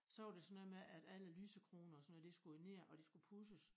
Så var det sådan noget med at alle lysekroner og sådan noget de skulle jo ned og de skulle pudses